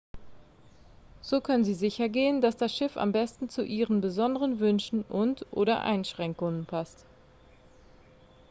so können sie sichergehen dass das schiff am besten zu ihren besonderen wünschen und/oder einschränkungen passt